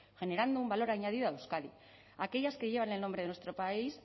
generando un valor añadido a euskadi aquellas que llevan el nombre de nuestro país